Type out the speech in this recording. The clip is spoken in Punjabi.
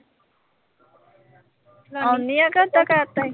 ਆਉਣੀ ਆਂ ਕਿ ਓਦਾਂ ਕਹਿ ਤਾ ਈ?